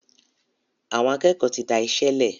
Àwọn akékòó tí dáiṣélè.